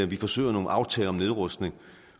vi forsøger nogle aftaler om nedrustning